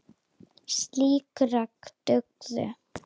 Slík rök dugðu.